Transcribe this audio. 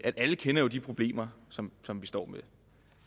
at alle kender de problemer som som vi står med